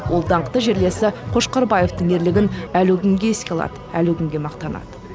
ол даңқты жерлесі қошқарбаевтың ерлігін әлі күнге еске алады әлі күнге мақтанады